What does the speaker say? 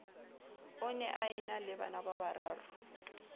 o ne a enale banababararo